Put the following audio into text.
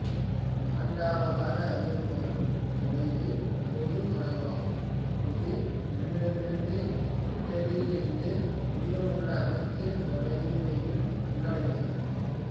நான்காவதாக அறியப்படும் தொலைவு பொதுத் தொலைவாகும் இது நம்மிடமிருந்து எட்டடியிலிருந்து மீதமுள்ள அனைத்துத் தொலைவையும் உள்ளடக்கியதாகும்